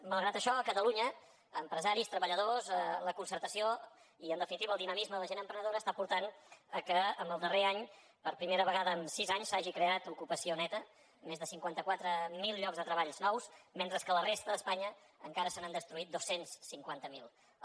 malgrat això a catalunya empresaris treballadors la concertació i en definitiva el dinamisme de la gent emprenedora està portant que en el darrer any per primera vegada en sis anys s’hagi creat ocupació neta més de cinquanta quatre mil llocs de treball nous mentre que a la resta d’espanya encara se n’han destruït dos cents i cinquanta miler